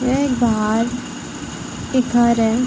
यह एक बाहर एक घर हैं।